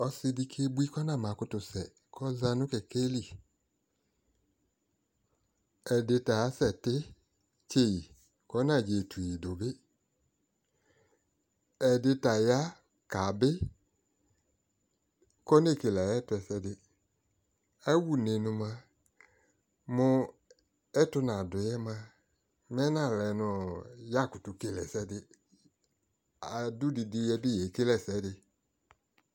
Ɔsi di kebui kʋ ɔnamakʋtʋsɛ, kɔza nʋ kɛkɛ li Ɛdi ta asɛtitse yi, kɔ 'nadzetu yi du bi Ɛdi ta ya kabi kʋ ɔnekele ayɛtʋ ɛsɛdi Awʋne nʋ moa, mʋ ɛtʋ nadu yɛ moa, mɛnalɛ nʋ ɔ yakʋtʋ kele ɛsɛdi Adʋ didi, yɛbi yekele ɛsɛdi